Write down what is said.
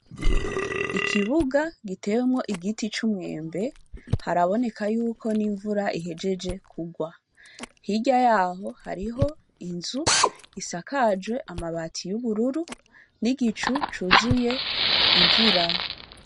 Ikibuga gitewemwo igiti c'umwembe haraboneka yuko n'imvura ihejeje kurwa. Hirya yaho hariho inzu isakajwe amabati y'ubururu n'igicu cuzuye imvura.